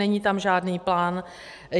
Není tam žádný plán.